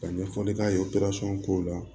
Ka ɲɛfɔli k'a ye ko la